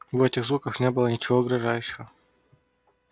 в этих звуках не было ничего угрожающего